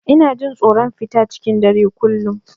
Ina jin tsoron fita cikin dare a kullum.